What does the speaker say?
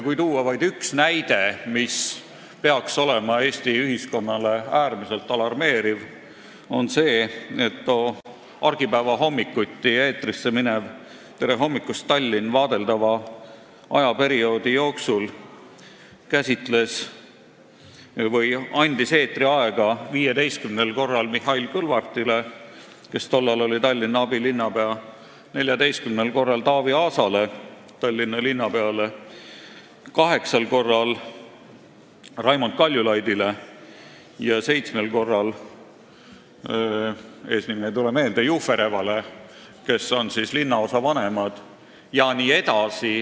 Kui tuua vaid üks näide, mis peaks olema Eesti ühiskonnale äärmiselt alarmeeriv, siis see on see, et too argipäeva hommikuti eetrisse minev "Tere hommikust, Tallinn!" andis vaadeldava ajaperioodi jooksul eetriaega 15 korral Mihhail Kõlvartile, kes tollal oli Tallinna abilinnapea, 14 korral Taavi Aasale, Tallinna linnapeale, 8 korral Raimond Kaljulaidile ja 7 korral Juferevale, eesnime ei tule meelde, kellest viimased on linnaosavanemad.